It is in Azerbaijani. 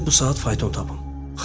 Gözdə bu saat fayton tapım.